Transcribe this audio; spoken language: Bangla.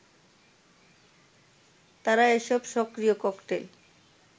তারা এসব সক্রিয় ককটেল